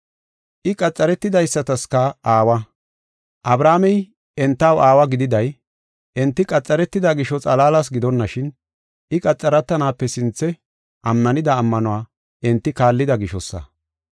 I qaxaretidaysataska aawa. Abrahaamey entaw aawa gididay enti qaxaretida gisho, xalaalas gidonashin, I qaxaretanaape sinthe ammanida ammanuwa enti kaallida gishosa.